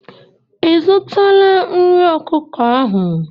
Ị zụtara nri ọkụkọ ahụ?